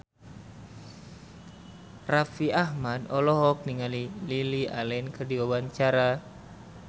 Raffi Ahmad olohok ningali Lily Allen keur diwawancara